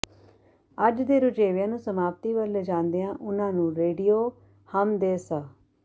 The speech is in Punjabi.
ਅੱਜ ਦੇ ਰੁਝੇਂਵਿਆਂ ਨੂੰ ਸਮਾਪਤੀ ਵੱਲ ਲਿਜਾਂਦਿਆ ਉਨ੍ਹਾਂ ਨੂੰ ਰੇਡੀਓ ਹਮ ਦੇ ਸ